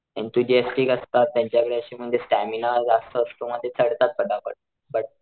इंफिडीएसटीक असतात त्यांच्याकडे अशी म्हणजे स्टॅमिना जास्त असतो म ते चढतात पटापट बट,